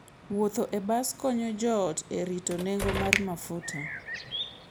Wuotho e bas konyo joot e rito nengo mar mafuta.